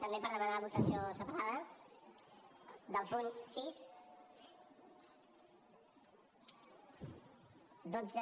també per demanar votació separada dels punts sis dotze